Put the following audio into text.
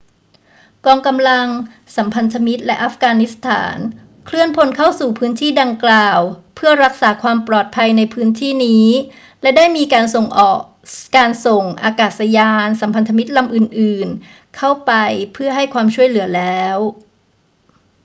กองกำลังสัมพันธมิตรและอัฟกานิสถานเคลื่อนพลเข้าสู่พื้นที่ดังกล่าวเพื่อรักษาความปลอดภัยในพื้นที่นี้ และได้มีการส่งอากาศยานสัมพันธมิตรลำอื่น ๆ เข้าไปเพื่อให้ความช่วยเหลือแล้ว